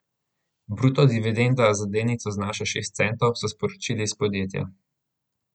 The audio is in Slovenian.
Bruto dividenda na delnico znaša šest centov, so sporočili iz podjetja.